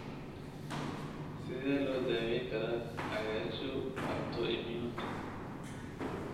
Sidee loo daweyn karaa cagaarshow autoimmune?